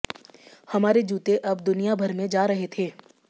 हमारे जूते अब दुनिया भर में जा रहे थे